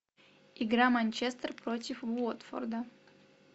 игра манчестер против уотфорда